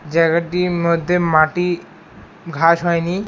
জায়গাটির মধ্যে মাটি ঘাস হয়নি।